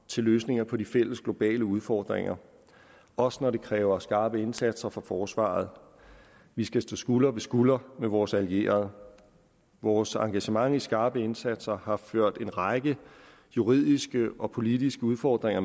til løsninger på de fælles globale udfordringer også når det kræver skarpe indsatser fra forsvaret vi skal stå skulder ved skulder med vores allierede vores engagement i skarpe indsatser har ført en række juridiske og politiske udfordringer